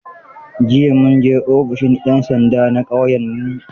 Jiya mun je ofishin 'yan sanda na ƙauyenmu.